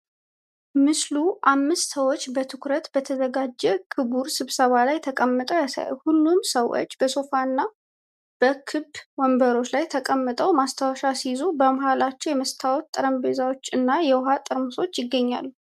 ምስሉ አምስት ሰዎች በትኩረት በተዘጋጀ ክቡር ስብሰባ ላይ ተቀምጠው ያሳያል። ሁሉም ሰዎች በሶፋ እና በክብ ወንበሮች ላይ ተቀምጠው ማስታወሻ ሲይዙ፣ በመሃላቸው የመስታወት ጠረጴዛዎች እና የውሃ ጠርሙሶች ይገኛሉ።